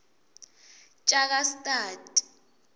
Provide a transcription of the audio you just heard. tjakastad